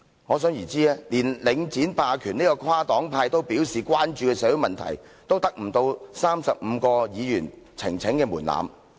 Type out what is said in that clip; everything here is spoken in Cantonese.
可想而知，連領展霸權這個跨黨派都表示關注的社會問題，也達不到35位議員的呈請門檻。